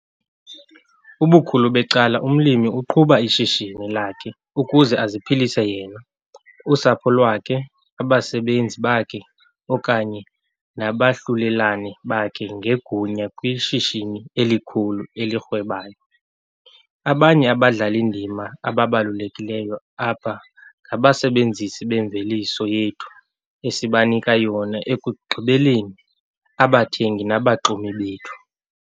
Ubukhulu becala, umlimi uqhuba ishishini lakhe ukuze aziphilise yena, usapho lwakhe abasebenzi bakhe okanye nabahlulelane bakhe ngegunya kwishishini elikhulu elirhwebayo. Abanye abadlali-ndima ababalulekileyo apha ngabasebenzisi bemveliso yethu esibanika yona ekugqibeleni, abathengi nabaxumi bethu.